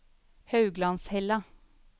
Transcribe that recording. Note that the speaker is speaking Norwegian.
Hauglandshella